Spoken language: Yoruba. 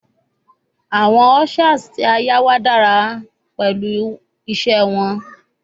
Awọn ushers ti a yá wà dara pẹlu wọn ise